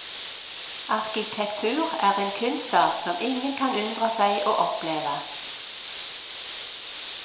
Arkitektur er en kunstart som ingen kan unndra seg å oppleve.